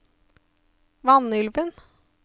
Vanylven